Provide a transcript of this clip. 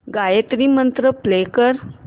Gayatri Mantra play कर